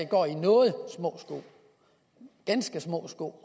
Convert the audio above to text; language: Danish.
går i noget små sko ganske små sko